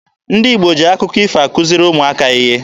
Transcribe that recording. Ndị Igbo ji akụkọ ifo akuziri ụmụaka ihe.